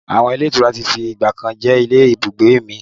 Àwọn ilé ìtura tí fi ìgbàkan jẹ́ ilé ibùgbé mi.